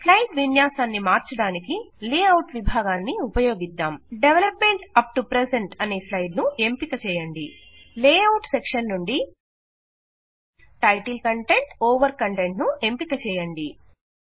slide విన్యాసాన్ని మార్చడానికి layout విభాగాన్ని ఉపయోగిద్దాం development up to present అనే స్లైడ్ ను ఎంపిక చేయండి లేఅవుట్ సెక్షెన్ నుండిgtgtటైటిల్ కంటెంట్ ఓవర్ కంటెంట్ ను ఎంపిక చేయండి